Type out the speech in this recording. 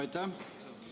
Aitäh!